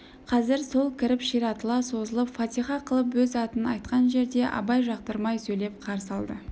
қазір сол кіріп ширатыла созылып фатиха қылып өз атын айтқан жерде абай жақтырмай сөйлеп қарсы алды